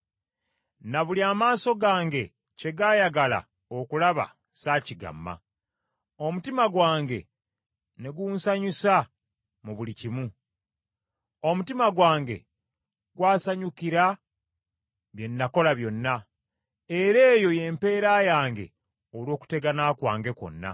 Na buli amaaso gange kye gaayagala okulaba sa kigamma, omutima gwange ne ngusanyusa mu buli kimu. Omutima gwange gwasanyukira bye nakola byonna, era eyo y’empeera yange olw’okutegana kwange kwonna.